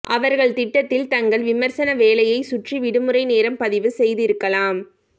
அவர்கள் திட்டத்தில் தங்கள் விமர்சன வேலையை சுற்றி விடுமுறை நேரம் பதிவு செய்திருக்கலாம்